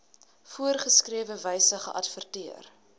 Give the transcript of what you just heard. voorgeskrewe wyse geadverteer